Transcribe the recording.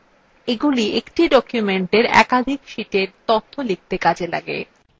এগুলি একটি document একাধিক শীটে তথ্য লিখতে কাজে লাগে